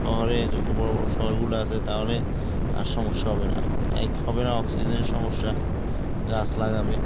শহরের এত বড়ো বড়ো শহর গুলো আছে তাহলে আর সমস্যা হবে না এক হবেনা অক্সিজেনের সমস্যা গাছ লাগাবে। গাছ লাগবে